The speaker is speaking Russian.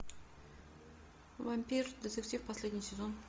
вампир детектив последний сезон